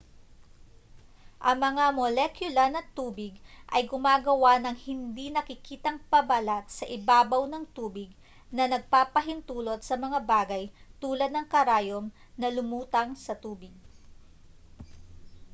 ang mga molekula ng tubig ay gumagawa ng hindi nakikitang pabalat sa ibabaw ng tubig na nagpapahintulot sa mga bagay tulad ng karayom na lumutang sa tubig